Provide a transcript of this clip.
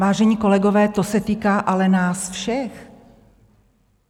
Vážení kolegové, to se týká ale nás všech.